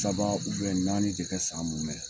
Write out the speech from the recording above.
Saba naani de kɛ san munmɛn.